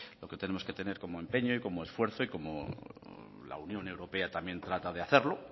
lo que tenemos que tener como empeño y como esfuerzo y cómo la unión europea también trata de hacerlo